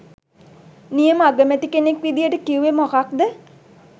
නියම අගමැති කෙනෙක් විදියට කිව්වේ මොකද්ද?